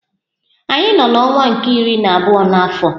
Anyị nọ n'ọnwa nke iri na abụọ n'afọ.